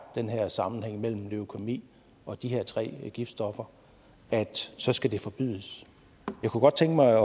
den her sammenhæng mellem leukæmi og de her tre giftstoffer så skal de forbydes jeg kunne godt tænke mig